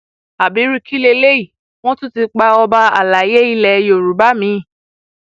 ábírú kí leléyìí wọn tún ti pa ọba àlàyé ilẹ yorùbá mi